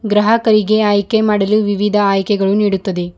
ಗ್ರಾಹಕರಿಗೆ ಆಯ್ಕೆ ಮಾಡಲು ವಿವಿಧ ಆಯ್ಕೆಗಳು ನೀಡುತ್ತದೆ.